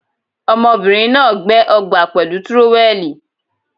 Ọmọbìnrin ná$à gbẹ́ ọgbà pẹ̀lú tírówẹ́ẹ̀lì.